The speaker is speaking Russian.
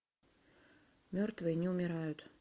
мертвые не умирают